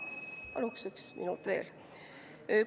Paluks üks minut veel!